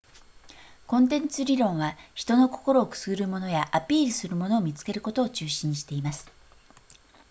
コンテンツ理論は人の心をくすぐるものやアピールするものを見つけることを中心にしています